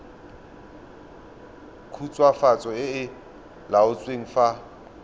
khutswafatso e e laotsweng fa